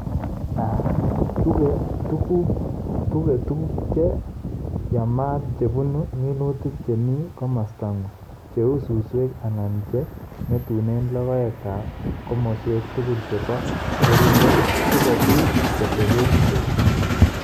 tuge tuguuk che yaamaat che punu minutik che mi komosta ng'ung', che uu susweek anan che ng'etune logoek komoswek tugul che po keriinget, si kobiit kotebee peek.